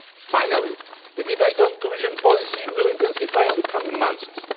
Finally, the debate on cohesion policy will intensify in the coming